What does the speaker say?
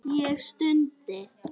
Ég stundi.